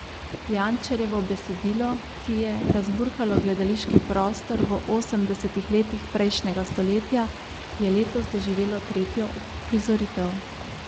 Jančarjevo besedilo, ki je razburkalo gledališki prostor v osemdesetih letih prejšnjega stoletja, je letos doživelo tretjo uprizoritev.